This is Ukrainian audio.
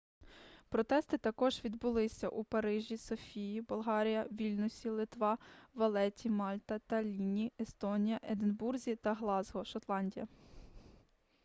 протести також відбулися у парижі софії болгарія вільнюсі литва валетті мальта таллінні естонія единбурзі та ґлазґо шотландія